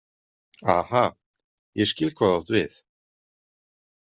Aha, ég skil hvað þú átt við.